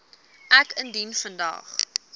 ek dien vandag